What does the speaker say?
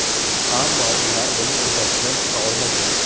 Ammo ular buning uddasidan chiqa olmagan.